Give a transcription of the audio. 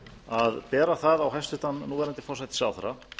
að bera það á hæstvirtum núverandi forsætisráðherra